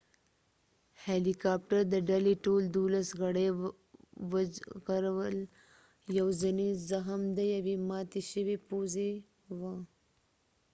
هیلی کاپټر د ډلې ټول دولس غړی وژغورل یواځنی زخم د یوې ماتی شوي پوزی و